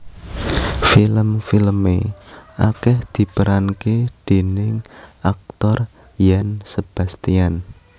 Film filme akeh diperanke déning aktor Yan Sebastian